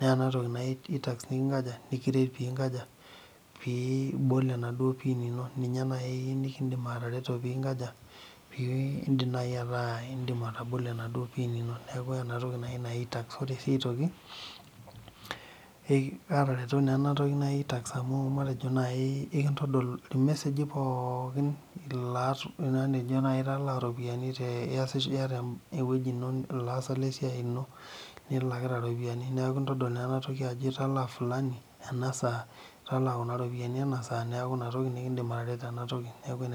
naa ena toki naji itax nikinkaja nikiret peinkaja pee ibol enaaduo pin ino ninye naaikindim atareto peibol enaaduo pin ino neeku enatoki naji itax ore sii aitoki aatereena toki naji itax amy ore naji irmeseji pookin matejo naaji italaa iropiyiani te niata ewueji ino niata ilaasak lesiai ino nilakita iropiyiani neeku ekintodol naa ena tooi ajo italaa fulani ena saai italaa kuna ropiyiani ena saa neeku inatoki nekindim atareto tena toki neeku enetipa ena toki